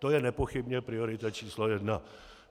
To je nepochybně priorita číslo jedna.